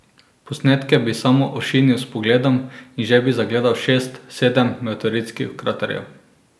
Posnetke bi samo ošinil s pogledom in že bi zagledal šest, sedem meteoritskih kraterjev.